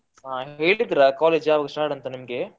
ಹಾ ಹೇಳಿದ್ರ college ಯಾವಾಗ start ಅಂತ ನಿಮ್ಗೆ?